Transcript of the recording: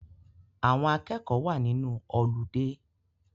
Àwọn akẹ́kọ̀ọ́ wa nínú ọludé